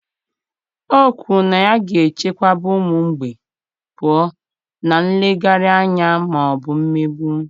O kwuru na ya ga-echebekwa ụmụ mgbei pụọ na nleghara anya ma ọ bụ mmegbu.